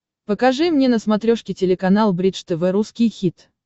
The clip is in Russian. покажи мне на смотрешке телеканал бридж тв русский хит